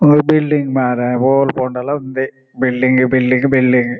ಉಂದು ಬಿಲ್ಡಿಂಗ್ ಮಾರ್ರೆ ಓಲ್ ಪೋಂಡಲ ಉಂದೇ ಬಿಲ್ಡಿಂಗ್ ಬಿಲ್ಡಿಂಗ್ ಬಿಲ್ಡಿಂಗ್ .